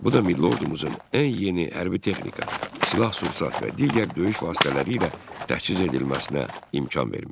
Bu da milli ordumuzun ən yeni hərbi texnika, silah-sursat və digər döyüş vasitələri ilə təchiz edilməsinə imkan vermişdi.